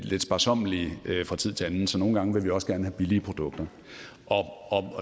lidt sparsommelige fra tid til anden så nogle gange vil vi også gerne have billige produkter